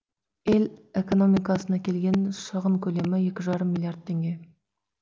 ел экономикасына келген шығын көлемі екі жарым миллиард теңге